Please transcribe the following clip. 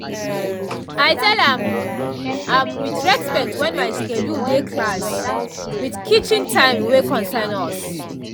i tell am um with respect when my schedule dey class with kitchen time wey concern us um